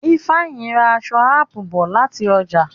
Ifeanyi rà èso apu bó láti oja.